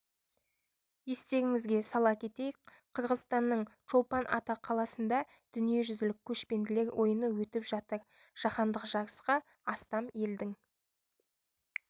естеріңізге сала кетейік қырғызстанның чолпан ата қаласында дүниежүзілік көшпенділер ойыны өтіп жатыр жаһандық жарысқа астам елдің